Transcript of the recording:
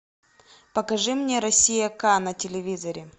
покажи мне россия к на телевизоре